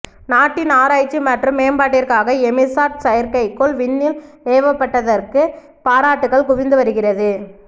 நாட்டின் ஆராய்ச்சி மற்றும் மேம்பாட்டிற்காக எமிசாட் செயற்கைக்கோள் விண்ணில் ஏவப்பட்டதற்கு பாராட்டுக்கள் குவிந்து வருகிறது